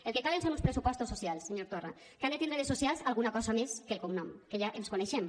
el que calen són uns pressupostos socials senyor torra que han de tindre de socials alguna cosa més que el cognom que ja ens coneixem